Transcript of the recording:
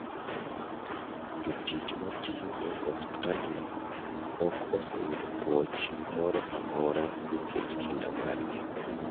Jotich matiyo e osiptandno ok oseyudo pwoch moro amora nikech kinda margi.